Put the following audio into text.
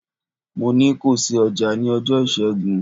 Mo ní ko ṣí ọjà ní ọjọ́ Ìṣẹ́gun!